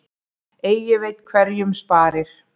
Eigi veit hverjum sparir.